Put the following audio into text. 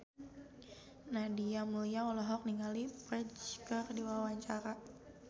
Nadia Mulya olohok ningali Ferdge keur diwawancara